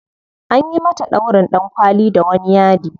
Anyi mata ɗaurin ɗankwali da wani yadi.